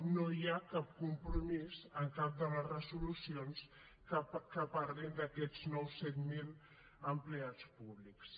no hi ha cap compromís en cap de les resolucions que parlin d’aquests nous set mil empleats públics